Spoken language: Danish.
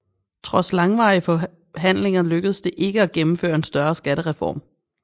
Trods langvarige forhandlinger lykkedes det ikke at gennemføre en større skattereform